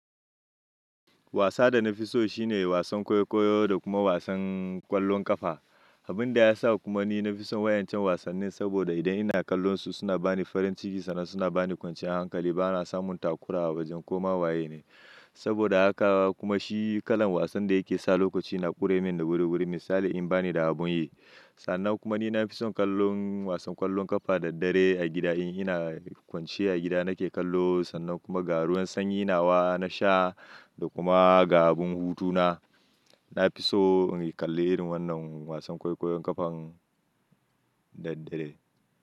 Wasa da na fi so shine wasan kwaikwayo da kuma wasan ƙwallon ƙafa. Abin da ya sa kuma ni na fi son wayancan wasanni saboda idan ina kallonsu suna bani farin ciki sannan suna bani kwanciyar hankali. Bana samun takura a wajen ko mahwaye ne. Saboda haka kuma shi kalan wasan da yake sa lokaci na ƙure min da guri guri misali in bani da abun yi. Sannan kuma ni na fi son kallon wasan ƙwallon ƙafa da daddare a gida in ina kwance a gida nake kallo sannan kuma ga ruwan sanyi nawa na sha da kuma ga abun hutu na. Na fi so in yi kalli irin wannan wasan kwallon ƙafan da daddare.